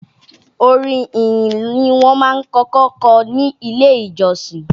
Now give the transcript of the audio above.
Orin ìyìn ni wọ́n kọ́kọ́ máa ń kọ ní Ilé-ìjọsìn